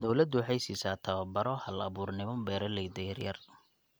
Dawladdu waxay siisaa tababaro hal-abuurnimo beeralayda yaryar.